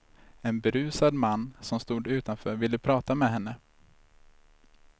En berusad man som stod utanför ville prata med henne.